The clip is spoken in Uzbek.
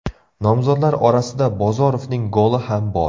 Nomzodlar orasida Bozorovning goli ham bor .